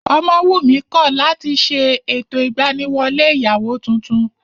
Ọmọwùnmí kọ̀ láti ṣe ètò ìgbaniwọlé ìyàwó tuntun